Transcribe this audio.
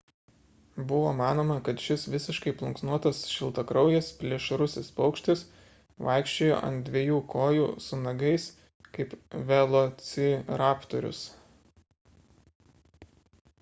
buvo manoma kad šis visiškai plunksnuotas šiltakraujis plėšrusis paukštis vaikščiojo ant dviejų kojų su nagais kaip velociraptorius